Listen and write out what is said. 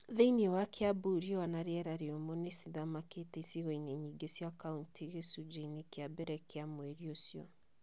Thĩinĩ wa Kiambu riũa na rĩera rĩũmũ nĩ ciathamakire icigo-inĩ nyingĩ cia kauntĩ gĩcunjĩ-inĩ kĩa mbere gĩa mweri ũcio.